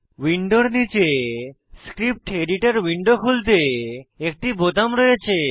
উইন্ডোর নীচে script editor window খুলতে একটি বোতাম রয়েছে